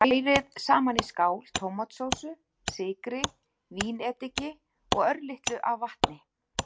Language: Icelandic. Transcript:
Hrærið saman í skál tómatsósu, sykri, vínediki og örlitlu af vatni.